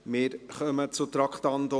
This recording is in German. Wir kommen zum Traktandum 46.